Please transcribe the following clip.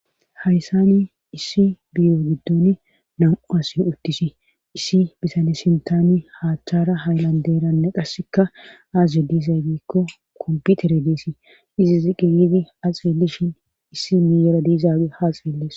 hayssani issi biyo giddon namu asi uttisi issi bitane sintani hattara haylanderanne qasseka aaze diizay biikko komputere deesi izi zi qiyidi axilishin issi miyera diizaabe haaxeelles